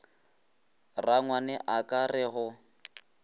rangwane a ka re go